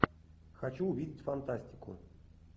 хочу увидеть фантастику